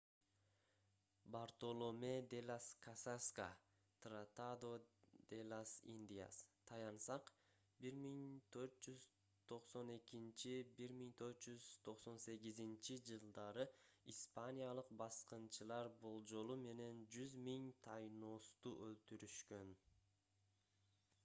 бартоломе́ де лас касаска tratado de las indias таянсак 1492–1498-жылдары испаниялык баскынчылар болжолу менен 100 000 таиносту өлтүрүшкөн